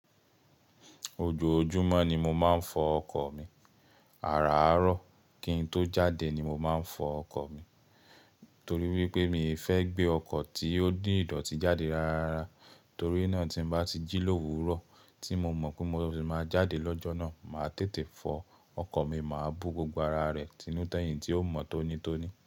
Ojoojúmọ́ ni mo máa ń fọ ọkọ̀ mi. Àràárọ̀ kí n tó jáde ni mo máa ń fọ ọkọ̀ mi. Torí wípé mi ò fẹ́ gbé ọkọ̀ tí ó ní ìdọ̀tí jáde rárá. Torí náà tí n bá ti jí l'òwúrọ̀ tí mo mọ̀ pé mó sì máa jáde lọ́jọ́ náà, màá tètè fọ ọkọ̀ mi, màá bo gbogbo ara rẹ̀ tinu tẹ́ẹ̀yìn tí ó mọ̀ tónítóní.